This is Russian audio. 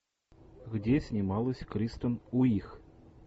где снималась кристен уиг